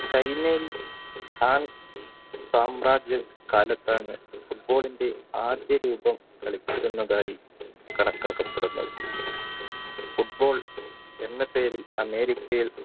സാമ്രാജ്യ കാലത്താണ് football ടെ ആദ്യ രൂപം കളിച്ചിരുന്നതായും football എന്ന പേരിൽ അമേരിക്കയിൽ